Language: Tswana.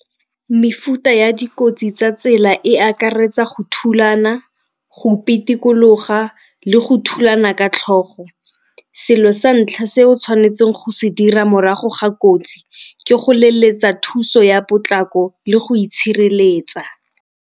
Mefuta ya dikotsi tsa tsela e akaretsa go thulana, go o pitikologa le go thulana ka tlhogo. Selo sa ntlha se o tshwanetseng go se dira morago ga kotsi ke go leletsa thuso ya potlako le go itshireletsa.